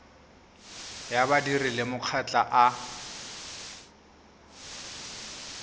ya badiri le makgotla a